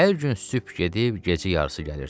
Hər gün sübh gedib gecə yarısı gəlirdi.